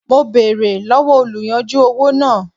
Mo bèrè lọ́wọ́ oluyanju owó náà.